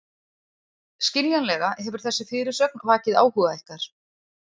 Skiljanlega hefur þessi fyrirsögn vakið áhuga ykkar.